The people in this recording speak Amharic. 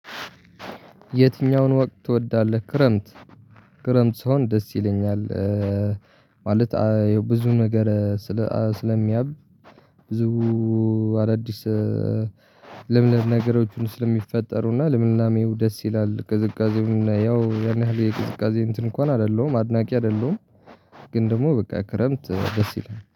የትኛውን ወቅት ትወዳለህ? ክረምት ክረምት ሲሆን ደስ ይለኛል። ማለት የብዙ ነገር ስለሚያብ ብዙ አዳዲስ ለምለ ነገሮችን ስለሚፈጠሩ እና ለምላናሜው ደስ ይላል ቅዝቃዜውና ያው ያን ያህል የቅዝቃዜ እንትን እንኳን አይደለሁም አድናቂ አይደለሁም። ግን ደግሞ በቃ ክረምት ደስ ይላል